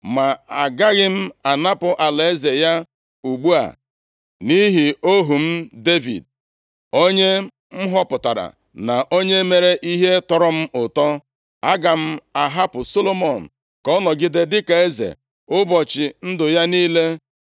“ ‘Ma agaghị m anapụ alaeze ya ugbu a, nʼihi ohu m Devid, onye m họpụtara, na onye mere ihe tọrọ m ụtọ. Aga m ahapụ Solomọn ka ọ nọgide dịka eze ụbọchị ndụ ya niile.